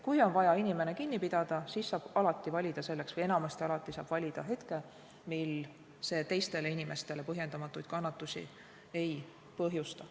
Kui on vaja inimene kinni pidada, siis saab enamasti alativalida selleks hetke, mil see teistele inimestele põhjendamatuid kannatusi ei põhjusta.